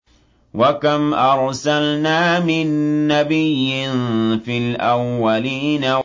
وَكَمْ أَرْسَلْنَا مِن نَّبِيٍّ فِي الْأَوَّلِينَ